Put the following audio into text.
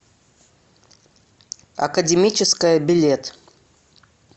академическая билет